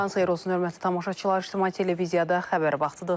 Sabahınız xeyir olsun, hörmətli tamaşaçılar, İctimai televiziyada xəbər vaxtıdır.